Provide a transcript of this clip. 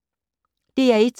DR1